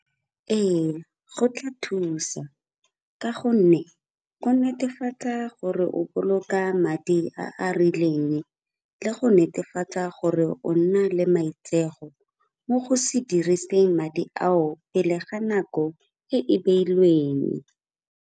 Ee, go tla thusa ka gonne go netefatsa gore o boloka madi a a rileng, le go netefatsa gore o nna le maitseo go mo go se diriseng madi ao pele ga nako e e beilweng.